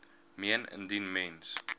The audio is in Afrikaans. meen indien mens